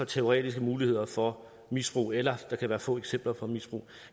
teoretiske muligheder for misbrug eller at der kan være få eksempler på misbrug